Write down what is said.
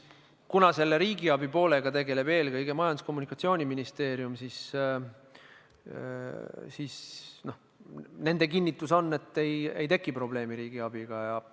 Aga riigiabi poolega tegeleb eelkõige Majandus- ja Kommunikatsiooniministeerium ja nende kinnitus on, et ei teki probleemi riigiabiga.